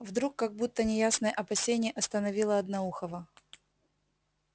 вдруг как будто неясное опасение остановило одноухого